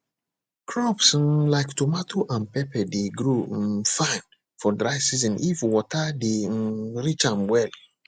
crops um like tomato and pepper dey grow um fine for dry season if water dey um reach am well